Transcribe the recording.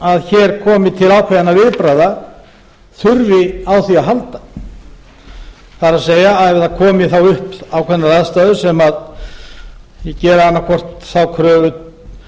að hér komi til ákveðinna viðbragða þurfi á þeim að halda það er að segja að komi upp ákveðnar aðstæður sem gera annaðhvort þá kröfu